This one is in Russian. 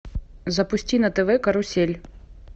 запусти на тв карусель